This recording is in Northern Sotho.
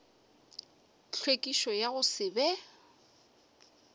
tlhwekišo ya go se be